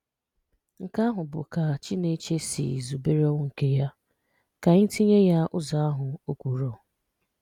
Nke ahụ̀ bụ́ ka Chínèchè si zùbèrè ọnwụ̀ nke yà; ka ànyì tìnyè yà ụzọ̀ ahụ̀,’ ọ̀ kwùrọ̀